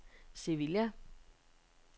Sevilla